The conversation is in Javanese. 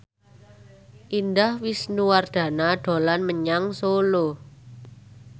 Indah Wisnuwardana dolan menyang Solo